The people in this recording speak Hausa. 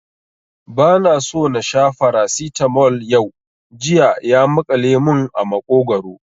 Ba na so na sha Farasitamol yau, jiya ya maƙale mun a maƙogwaro